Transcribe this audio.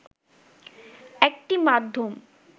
একটি মাধ্যম